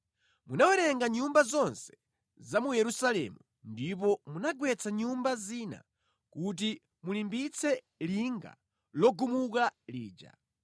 Munawerenga nyumba zonse za mu Yerusalemu ndipo munagwetsa nyumba zina kuti mulimbitse linga logumuka lija.